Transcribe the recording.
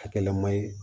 Hakilina man ɲi